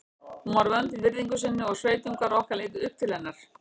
Hún var vönd að virðingu sinni og sveitungar okkar litu upp til hennar.